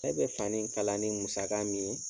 Ne bɛ fani kalan ni musaka min ye